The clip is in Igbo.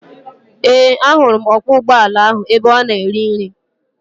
Ee, ahụrụ m ọkwọ ụgbọala ahụ ebe ọ na-eri nri.